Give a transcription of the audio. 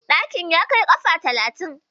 Ɗakin ya kai kafa talatin?